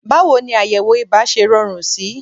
Báwo ni àyẹ̀wò ibà ṣe rọrùn sí?